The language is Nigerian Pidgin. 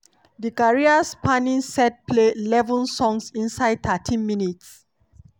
di career-spanning set play eleven songs inside thirteen minutes.